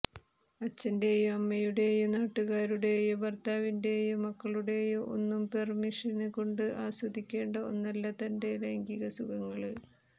അച്ഛന്റേയോ അമ്മയുടേയോ നാട്ടുകാരുടേയോ ഭര്ത്താവിന്റേയോ മക്കളുടേയോ ഒന്നും പെര്മിഷന് കൊണ്ട് ആസ്വദിക്കേണ്ട ഒന്നല്ല തന്റെ ലൈംഗികസുഖങ്ങള്